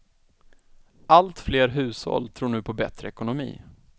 Allt fler hushåll tror nu på bättre ekonomi.